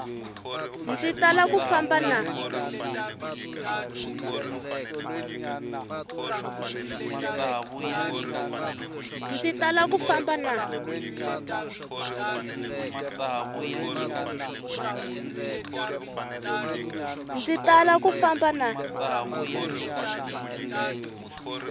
ndzi tala ku famba na